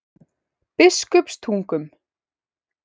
Biskupstungum